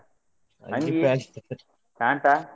Pant a.